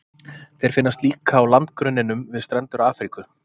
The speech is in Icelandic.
Þeir finnast líka á landgrunninu við strendur Afríku.